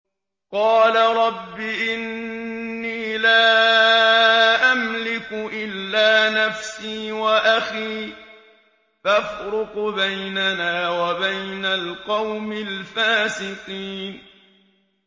قَالَ رَبِّ إِنِّي لَا أَمْلِكُ إِلَّا نَفْسِي وَأَخِي ۖ فَافْرُقْ بَيْنَنَا وَبَيْنَ الْقَوْمِ الْفَاسِقِينَ